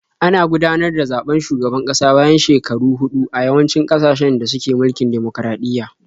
Ana gudanar da zaɓen shugaban kasa bayan shekaru huɗu a yawancin ƙasashen da suke mulkin dimokuraɗiyya.